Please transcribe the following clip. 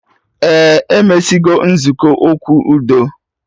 Ee, emesigo nzukọ okwu udo